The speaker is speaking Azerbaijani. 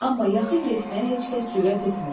Amma yaxın getməyə heç kəs cürət etmirdi.